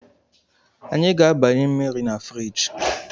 Anyị ga-agbanye mmiri na firiji